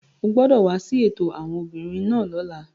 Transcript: O gbọdọ wa si eto awọn obinrin naa lọla!